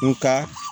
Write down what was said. Nka